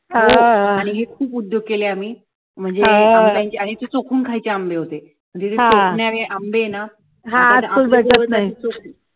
आणि खूप उद्योग केले आम्ही म्हणजे ते चोकून खायचे आंबे होते आंबे ये ना